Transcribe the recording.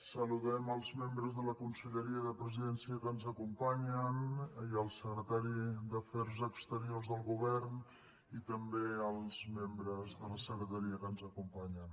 saludem els membres de la conselleria de presidència que ens acompanyen i el secretari d’afers exteriors del govern i també els membres de la secretaria que ens acompanyen